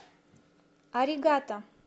аригато